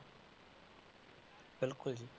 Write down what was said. ਬਿਲਕੁਲ ਜੀ।